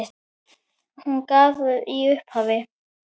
Hún gaf í upphafi